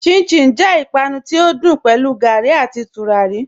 Chin-chin jẹ ìpànù tí o dùn pẹ̀lú gárí àti túràrí.